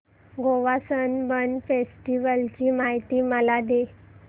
Goa Sunburn festival ची माहिती मला दे